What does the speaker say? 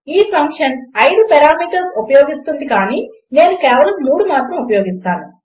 ఈ function 5 parameters ఉపయోగిస్తుంది కానీ నేను కేవలం 3 మాత్రం ఉపయోగిస్తాను